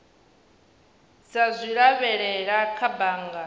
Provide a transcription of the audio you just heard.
dza zwi lavhelela kha bannga